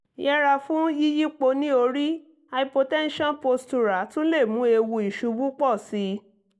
yẹra fún yíyípo níorí hypotension postural tún lè mú ewu ìṣubú pọ̀ sí i